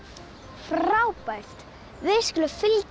frábært við skulum fylgjast